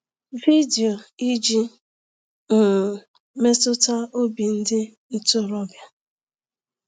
Vidiyo iji um metụta obi ndị ntorobịa.